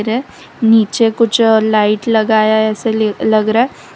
है नीचे कुछ लाइट लगाया है ऐसे लग रहा है।